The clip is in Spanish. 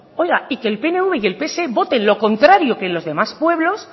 oiga y que el pnv y el pse voten lo contrario que los demás pueblos